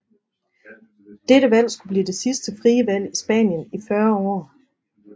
Dette valg skulle blive det sidste frie valg i Spanien i 40 år